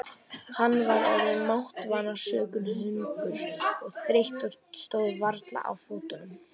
Hann var orðinn máttvana sökum hungurs og þreytu og stóð varla á fótunum.